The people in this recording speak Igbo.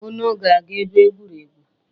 Unu ga-aga ebe egwuregwu?